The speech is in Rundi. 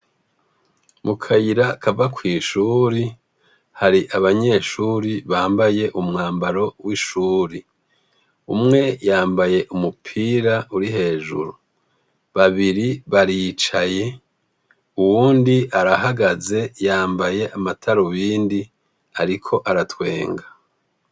Mukayira kava kwishuri hari abanyeshuri bambaye umwambaro w' ishuri umwe yambaye umupira uri hejuru babiri baricaye uwundi arahagaze yambaye amatarubindi ariko aratwenga.